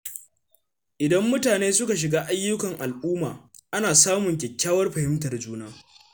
Idan mutane suka shiga ayyukan al’umma, ana samun kyakkyawar fahimtar juna.